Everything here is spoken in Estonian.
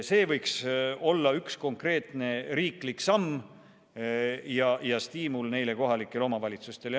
See võiks olla üks konkreetne riiklik samm ja stiimul neile kohalikele omavalitsustele.